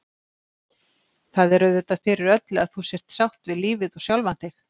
Það er auðvitað fyrir öllu að þú sért sátt við lífið og sjálfa þig.